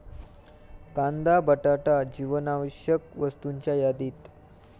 कांदा, बटाटा जीवनावश्यक वस्तूंच्या यादीत